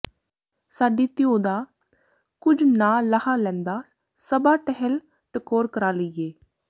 ਸਾਡੀ ਧਿਉ ਦਾ ਕੁੱਝ ਨਾ ਲਾਹ ਲੈਂਦਾ ਸਭਾ ਟਹਿਲ ਟਕੋਰ ਕਰਾ ਲਈਏ